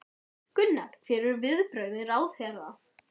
Gunnar: Hver voru viðbrögð ráðherra?